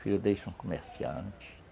Filho deles são comerciantes.